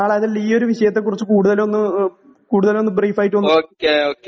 ഈയൊരു കാര്യത്തെക്കുറിച്ചു കൂടുതൽ കൂടുതൽ ഒന്ന് ബ്രീഫ് ആയിട്ട്